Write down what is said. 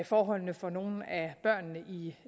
forholdene for nogle